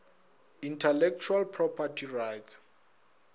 intellectual property rights